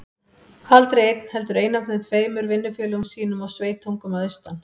Aldrei einn, heldur einatt með tveimur vinnufélögum sínum og sveitungum að austan.